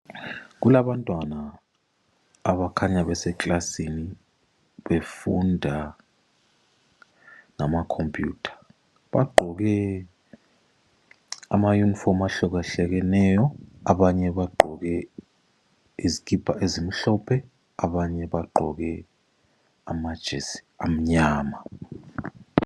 Kulabantwana abakhanya beseklasini befunda ngama khompuyutha bagqoke amayunifomu ahluka hlukeneyo abanye bagqoke izikipa ezimhlophe, abanye bagqoke amajesi amnyama.